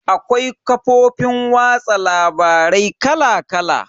Akwai kafofin watsa labarai kala kala.